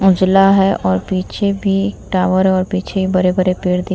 उजला है और पीछे भी एक टावर और पीछे बड़े-बड़े पेड़ दिख --